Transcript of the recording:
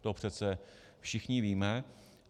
To přece všichni víme.